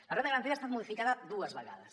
la renda garantida ha estat modificada dues vegades